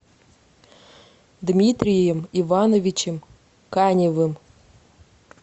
дмитрием ивановичем каневым